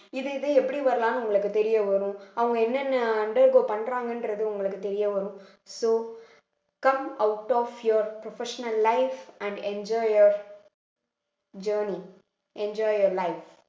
இது இது எப்படி வரலான்னு உங்களுக்கு தெரிய வரும் அவங்க என்னென்ன undergrow பண்றாங்கன்றது உங்களுக்கு தெரிய வரும் so come out of your professional life and enjoy your journey enjoy your life